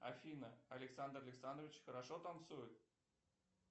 афина александр александрович хорошо танцует